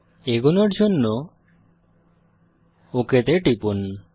এগোনোর জন্য ওক তে টিপুন